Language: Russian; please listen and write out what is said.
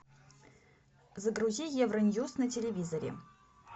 загрузи евроньюс на телевизоре